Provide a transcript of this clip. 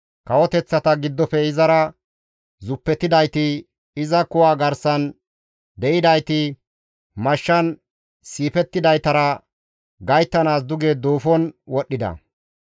Kawoteththata giddofe izara zuppetidayti, iza kuwa garsan de7idayti, mashshan siifettidaytara gayttanaas duge duufon wodhdhida.